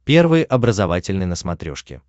первый образовательный на смотрешке